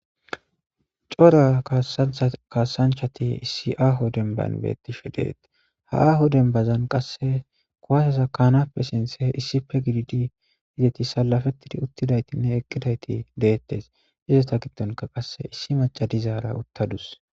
cora kasanchati issi aaho denban beettishe deetees ha aho denbazan qasse kuwaseza kaanappe sinthe issife gididi izeti salafettidi uttidayitinne eqqidayti deettes izeta giddonka qasse issi macadizaara uttadus